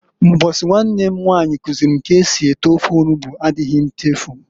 Mbosi nwanne m nwanyi kuziili m ka esi ete ofe onugbu adighi nchefu.